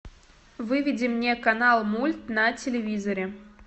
выведи мне канал мульт на телевизоре